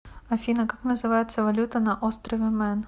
афина как называется валюта на острове мэн